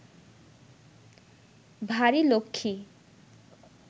ভারি লক্ষ্মী